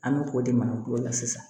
An bɛ k'o de makulo la sisan